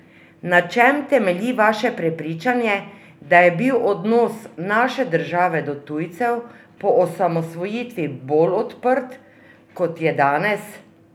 Na čem temelji vaše prepričanje, da je bil odnos naše države do tujcev po osamosvojitvi bolj odprt, kot je danes?